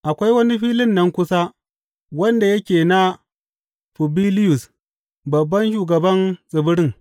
Akwai wani filin nan kusa wanda yake na Fubiliyus, babban shugaban tsibirin.